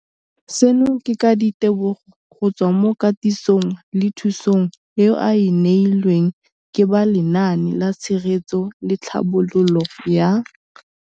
Seno ke ka ditebogo go tswa mo katisong le thu song eo a e neilweng ke ba Lenaane la Tshegetso le Tlhabololo ya.